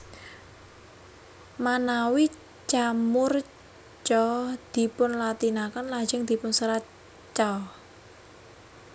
Manawi Ca murca dipunlatinaken lajeng dipunserat ca